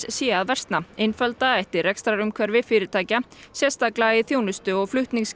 sé að versna einfalda ætti rekstrarumhverfi fyrirtækja sérstaklega í þjónustu og